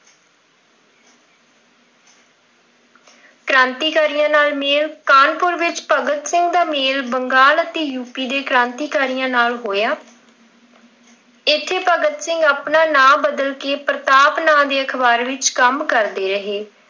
ਕ੍ਰਾਂਤੀਕਾਰੀਆਂ ਨਾਲ ਮੇਲ, ਕਾਹਨਪੁਰ ਵਿੱਚ ਭਗਤ ਸਿੰਘ ਦਾ ਮੇਲ ਬੰਗਾਲ ਅਤੇ ਯੂਪੀ ਦੇ ਕ੍ਰਾਂਤੀਕਾਰੀਆਂ ਨਾਲ ਹੋਇਆ। ਇੱਥੇ ਭਗਤ ਸਿੰਘ ਆਪਣਾ ਨਾਮ ਬਦਲ ਕਿ ਪ੍ਰਤਾਪ ਨਾਮ ਦੇ ਅਖ਼ਬਾਰ ਵਿੱਚ ਕੰਮ ਕਰਦੇ ਰਹੇ।